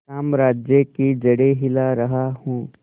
साम्राज्य की जड़ें हिला रहा हूं